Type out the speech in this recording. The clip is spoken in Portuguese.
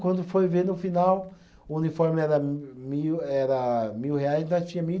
Quando foi ver, no final, o uniforme era mil era, mil reais e nós tinha mil e.